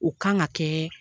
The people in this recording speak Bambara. U kan ka kɛ